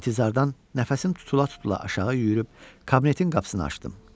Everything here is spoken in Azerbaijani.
İntizardan nəfəsim tutula-tutula aşağı yüyürüb kabinetin qapısını açdım.